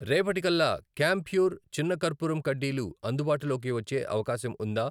రేపటి కల్లా కాంప్యూర్ చిన్న కర్పూరం కడ్డీలు అందుబాటులోకి వచ్చే అవకాశం ఉందా?